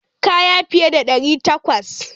Kaya fiye da ɗari takwas.